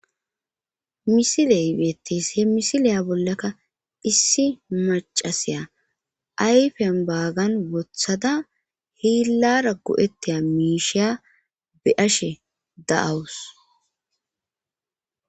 Misileybeetis he misiliya bollakka issi macasiya ayfen baagan wothada hiillara go7ettiya miisheya be ashe da7awus.